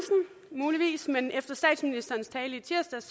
muligvis men efter statsministerens tale i tirsdags